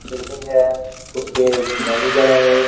Building है उसके manager हैं ये।